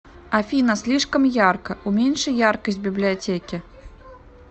афина слишком ярко уменьши яркость в библиотеке